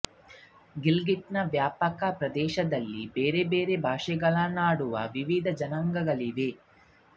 ಗಿಲ್ಗಿಟ್ನ ವ್ಯಾಪಕ ಪ್ರದೇಶದಲ್ಲಿ ಬೇರೆ ಬೇರೆ ಭಾಷೆಗಳನ್ನಾಡುವ ವಿವಿಧ ಜನಾಂಗಗಳಿವೆ